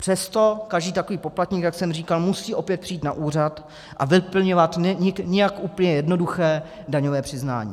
Přesto každý takový poplatník, jak jsem říkal, musí opět přijít na úřad a vyplňovat nijak úplně jednoduché daňové přiznání.